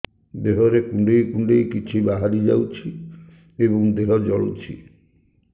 ଦେହରେ କୁଣ୍ଡେଇ କୁଣ୍ଡେଇ କିଛି ବାହାରି ଯାଉଛି ଏବଂ ଦେହ ଜଳୁଛି